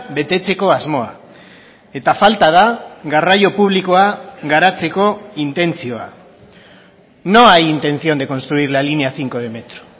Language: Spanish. betetzeko asmoa eta falta da garraio publikoa garatzeko intentzioa no hay intención de construir la línea cinco de metro